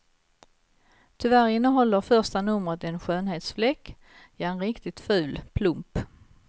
Tyvärr innehåller första numret en skönhetsfläck, ja en riktigt ful plump.